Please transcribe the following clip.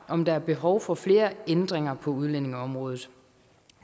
om der er behov for flere ændringer på udlændingeområdet